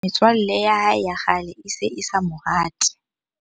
Metswalle ya hae ya kgale e se e sa mo rate.